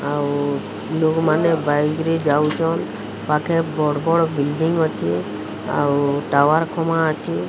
ଆଉ ଲୋକ୍ ମାନେ ବାଇକରେ ଯାଉଚନ୍। ପାଖେ ବଡ୍ ବଡ୍ ବିଲଡିଂ ଅଛି। ଆଉ ଟାୱାର ଖମା ଅଛି।